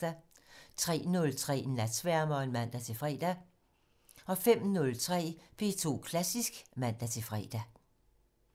03:03: Natsværmeren (man-fre) 05:03: P2 Klassisk (man-fre)